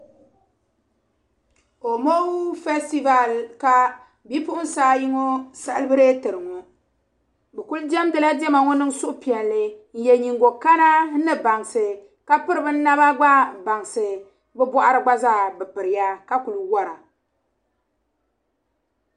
Homɔŋ festiver ka bi puɣinsi ayi ŋɔ sal biretiri ŋɔ bikudemdila dema ŋɔ ni suhu piɛli, n ye liiga kana ni bansi, kapiri bi naba gba bansi bi bɔɣiri gba zaa bi piriba ka ku wara.